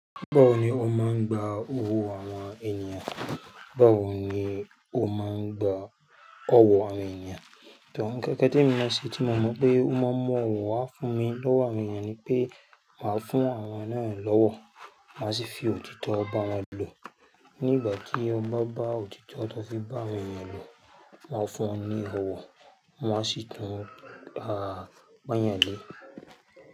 Báwo ni ó máa ń gba owó àwọn ènìyàn? Báwo ni ó máa ń gba ọwọ́ àwọn ènìyàn? Nkankan t'emi mọ̀ ṣe tí mo mọ̀ pé ó máa ń mú ọ̀wọ̀ wá fún mi lọ́wọ́ àwọn ènìyàn ni pé màá fún àwọn náà lọ́wọ́, màá sì fi òtítọ́ bá wọn lò. Nígbà tí o ba bá òtítọ́ tó fi bá awon ènìyàn lò, won a fún ọ ní ọwọ́, wọn á sì tún bá a pon'yan lé.